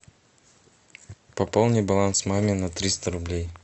пополни баланс маме на триста рублей